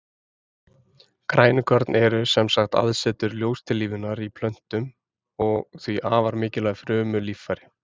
Grænukorn eru sem sagt aðsetur ljóstillífunar í plöntum og því afar mikilvæg frumulíffæri.